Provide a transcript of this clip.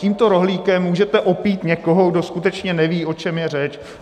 Tímto rohlíkem můžete opít někoho, kdo skutečně neví, o čem je řeč.